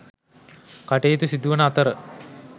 කටයුතු සිදුවන අතර